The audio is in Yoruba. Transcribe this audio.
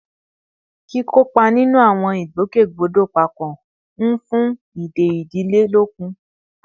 Kíkópa nínú àwọn ìgbòkègbodò papọ̀ ń fún ìdè ìdílé lókun